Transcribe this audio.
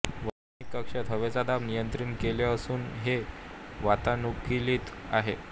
वैमानिक कक्षात हवेचा दाब नियंत्रित केले असून हे वातानुकूलित आहे